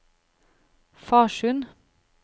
Farsund